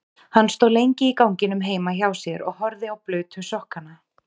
Hann stóð lengi í ganginum heima hjá sér og horfði á blauta sokkana.